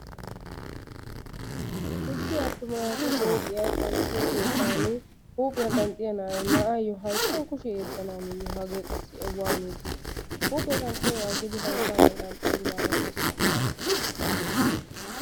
issi atuma naatu huuphiya qanxxiyo kettani huuphiya qanxxiya na'ay na'aayo hayittan kushiya yeddanaaniye hagee qassi waaniidi di? huuphiya qanxxiyoogaa aggidi hayittaane qanxxayis gaana xoosso palaappe ashsha.